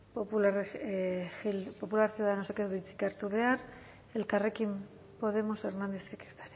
popular ciudadanosek ez du hitzik hartu behar elkarrekin podemos hernándezek